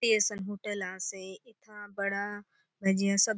छोटे असन होटल आसे एथा बड़ा भजिया सब --